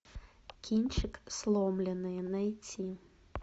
кинчик сломленные найти